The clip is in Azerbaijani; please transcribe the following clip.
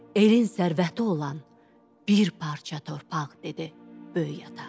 Elin sərvəti olan bir parça torpaq, dedi Böyük ata.